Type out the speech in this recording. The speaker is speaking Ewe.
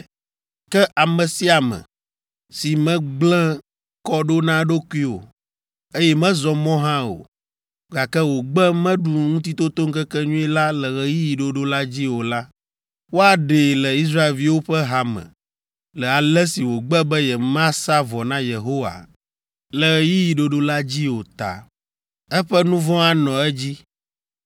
“Ke ame sia ame, si megblẽ kɔ ɖo na eɖokui o, eye mezɔ mɔ hã o, gake wògbe meɖu Ŋutitotoŋkekenyui la le ɣeyiɣi ɖoɖo la dzi o la, woaɖee le Israelviwo ƒe ha me le ale si wògbe be yemasa vɔ na Yehowa le ɣeyiɣi ɖoɖo la dzi o ta. Eƒe nu vɔ̃ anɔ edzi.